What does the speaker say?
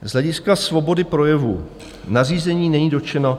Z hlediska svobody projevu nařízení není dotčeno -